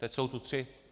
Teď jsou tu tři.